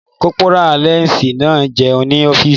Kọ́pórà láǹsì náà n jẹun ní ọ́fìsì